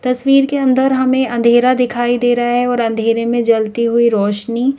तस्वीर के अंदर हमें अंधेरा दिखाई दे रहा है और अंधेरे में जलती हुई रोशनी--